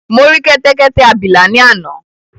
Mo rí kẹ́tẹ́kẹ́tẹ́ abìlà ni àná